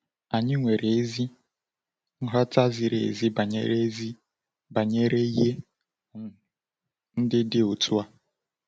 Anyị nwere ezi nghọta ziri ezi banyere ezi banyere ihe um ndị dị otu a.